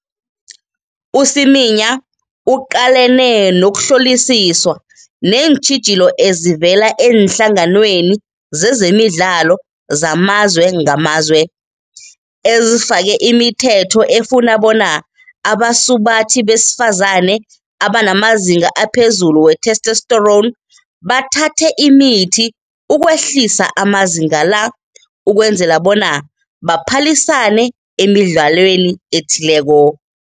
U-Semenya uqalene nokuhlolisiswa neentjhijilo ezivela eenhlanganweni zezemidlalo zamazwe ngamazwe, ezifake imithetho efuna bona abasubathi besifazane abanamazinga aphezulu we-testosterone bathathe imithi ukwehlisa amazinga la ukwenzela bona baphalisane emidlalweni ethileko.